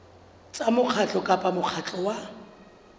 tsa mokgatlo kapa mokgatlo wa